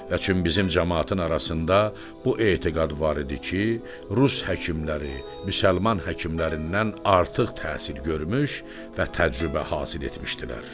Lakin bizim camaatın arasında bu etiqad var idi ki, rus həkimləri müsəlman həkimlərindən artıq təhsil görmüş və təcrübə hasil etmişdilər.